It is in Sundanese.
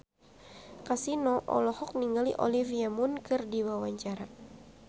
Kasino olohok ningali Olivia Munn keur diwawancara